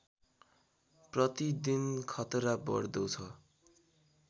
प्रतिदिन खतरा बढ्दो छ